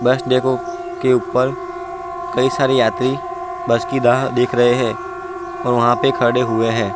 बस डेपो के ऊपर कई सारे यात्री बस की राह देख रहे हैं और वहाँ पे खड़े हुए है ।